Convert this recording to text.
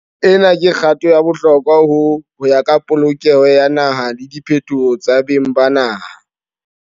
Ena ke kgato ya bohlokwa ho ya ka polokelo ya naha le diphetoho tsa beng ba naha.